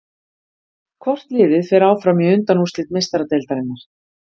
Hvort liðið fer áfram í undanúrslit Meistaradeildarinnar?